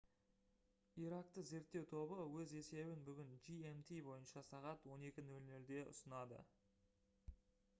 иракты зерттеу тобы өз есебін бүгін gmt бойынша сағат 12:00-де ұсынады